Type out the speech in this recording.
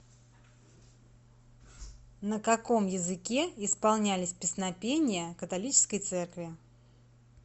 на каком языке исполнялись песнопения католической церкви